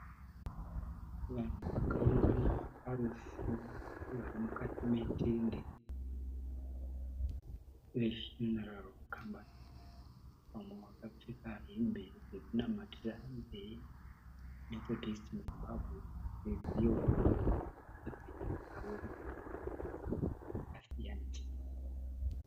Vanhu vakaungana parufu varimukati metende ye Funeral Company . Vamwe vakapfeka hembe yekunamatira ye Methodist in Zimbabwe ye Zioni. Nedzimwewo dzakasiyana siyana.